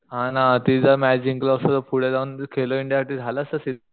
हा ना ती जर मॅच जिंकलो असतो तर पुढे जाऊन खेलो इंडिया साठी झालं असत सिलेक्शन